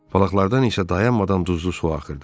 Balıqlardan isə dayanmadan duzlu su axırdı.